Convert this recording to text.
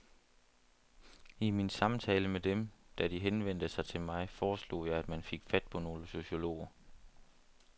I min samtale med dem, da de henvendte sig til mig, foreslog jeg at man fik fat på nogle sociologer.